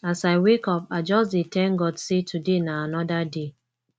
as i wake up i just dey thank god sey today na anoda day